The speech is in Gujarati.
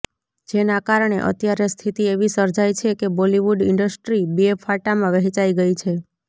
જેના કારણે અત્યારે સ્થિતિ એવી સર્જાઇ છે કે બોલીવુડ ઇન્ડસ્ટ્રી બે ફાટામાં વહેંચાઇ ગઇ છે